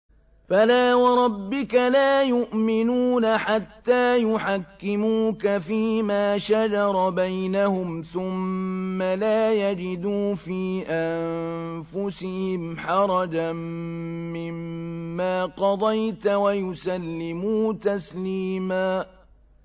فَلَا وَرَبِّكَ لَا يُؤْمِنُونَ حَتَّىٰ يُحَكِّمُوكَ فِيمَا شَجَرَ بَيْنَهُمْ ثُمَّ لَا يَجِدُوا فِي أَنفُسِهِمْ حَرَجًا مِّمَّا قَضَيْتَ وَيُسَلِّمُوا تَسْلِيمًا